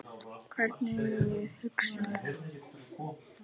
Hvernig við hugsum.